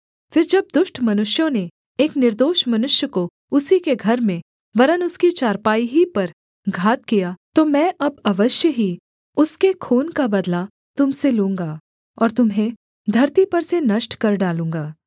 फिर जब दुष्ट मनुष्यों ने एक निर्दोष मनुष्य को उसी के घर में वरन् उसकी चारपाई ही पर घात किया तो मैं अब अवश्य ही उसके खून का बदला तुम से लूँगा और तुम्हें धरती पर से नष्ट कर डालूँगा